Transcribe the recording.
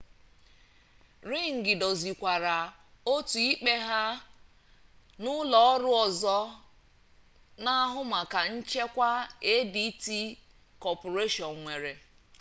ring dozikwara otu ikpe ha na ụlọ ọrụ ọzọ na-ahụ maka nchekwa adt corporation nwere